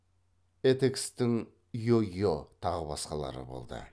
этекстің йо йо тағы басқалары болды